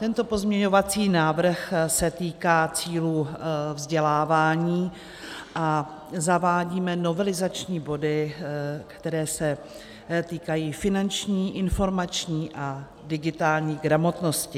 Tento pozměňovací návrh se týká cílů vzdělávání a zavádíme novelizační body, které se týkají finanční, informační a digitální gramotnosti.